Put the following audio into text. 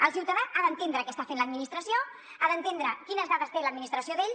el ciutadà ha d’entendre què està fent l’administració ha d’entendre quines dades té l’administració d’ell